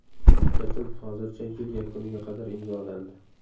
Bitim hozircha yil yakuniga qadar imzolandi.